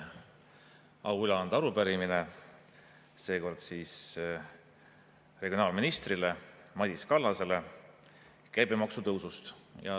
On au üle anda arupärimine, seekord regionaalminister Madis Kallasele ja käibemaksu tõusu kohta.